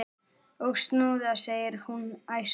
Og snúða! segir hún æst.